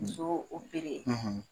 Musow